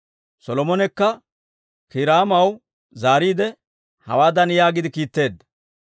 Solomonekka Kiiraamaw zaariide hawaadan yaagiide kiitteedda;